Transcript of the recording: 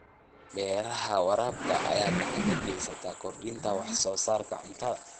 Beeraha waraabka ayaa gacan ka geysta kordhinta wax soo saarka cuntada.